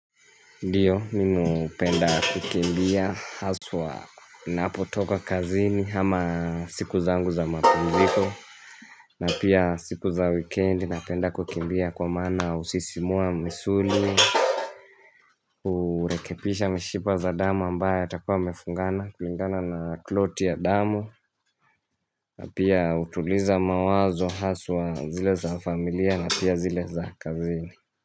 Ndiyo mimi upenda kukimbia haswa napotoka kazini hama siku zangu za mapumziko na pia siku za weekend napenda kukimbia kwa mana usisimua misuli Kurekepisha mshipa za dama ambaye atakuwa amefungana kulingana na kloti ya damu na pia utuliza mawazo haswa zile za familia na pia zile za kazini.